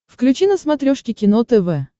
включи на смотрешке кино тв